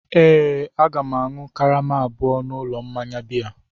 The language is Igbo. Ee, Aga m ga-aṅụ karama abụọ n'ụlọ mmanya biya.